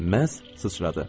Məhz sıçradı.